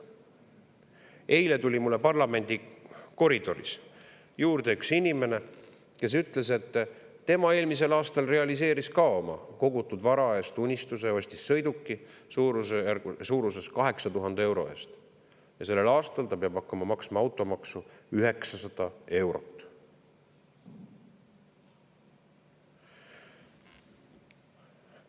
Eile tuli mulle parlamendi koridoris juurde üks inimene, kes ütles, et tema realiseeris eelmisel aastal kogutud vara eest unistuse, ostis sõiduki suurusjärgus 8000 euro eest, ja sellel aastal ta peab hakkama maksma automaksu 900 eurot.